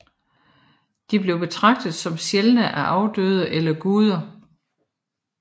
De blev betragtet som sjæle af afdøde eller guder